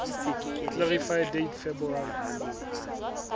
clarify date february